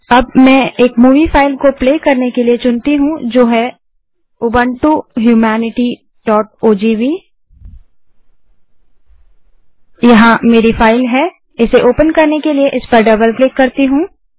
अब मैं एक मूवी फाइल को प्ले करने के लिए चुनती हूँ जो है ubuntuhumanityओजीवी यहाँ मेरी फाइल है इसे ओपन करने के लिए मैं इस पर डबल क्लिक करती हूँ